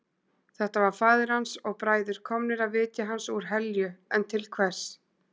Þetta var faðir hans og bræður komnir að vitja hans úr helju en til hvers?